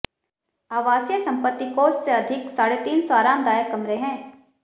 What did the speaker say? आवासीय संपत्ति कोष से अधिक साढ़े तीन सौ आरामदायक कमरे हैं